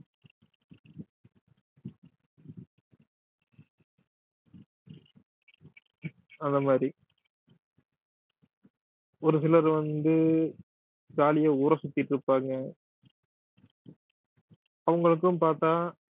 அந்த மாதிரி ஒரு சிலர் வந்து ஜாலியா ஊர சுத்திட்டு இருப்பாங்க அவங்களுக்கும் பார்த்தால்